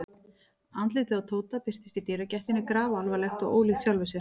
Andlitið á Tóta birtist í dyragættinni grafalvarlegt og ólíkt sjálfu sér.